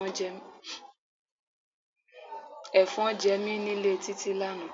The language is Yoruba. Efon jẹ mí nílé Títí lánàá.